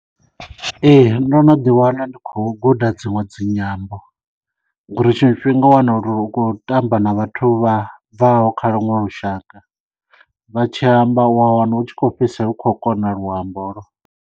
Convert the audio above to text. Ee ndo no ḓi wana ndi khou guda dziṅwe dzinyambo ngori tshiṅwe tshifhinga u wana uri u khou tamba na vhathu vha bvaho kha luṅwe lushaka vha tshi amba u a wana hu tshi khou fhedzisela u khou kona luambo holo.